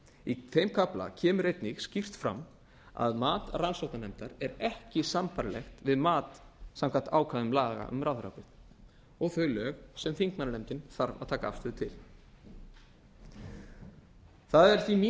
í þeim kafla kemur einnig skýrt fram að mat rannsóknarnefndar er ekki sambærilegt við mat samkvæmt ákvæðum laga um ráðherraábyrgð og þau lög sem þingmannanefndin þarf að taka afstöðu til það er því mín